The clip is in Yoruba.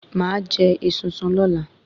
Màá jẹ esunsun lọ́la